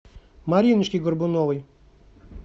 мариночке горбуновой